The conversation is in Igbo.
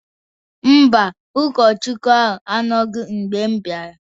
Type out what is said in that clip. Mba, ụkọchukwuna ahụ anọghị mgbe m bịara